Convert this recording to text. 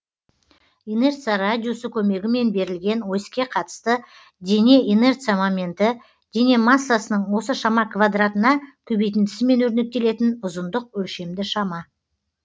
инерция радиусы көмегімен берілген оське қатысты дене инерция моменті дене массасының осы шама квадратына көбейтіндісімен өрнектелетін ұзындық өлшемді шама